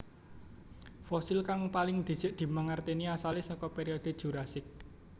Fosil kang paling dhisik dimangertèni asalé saka periode Jurasik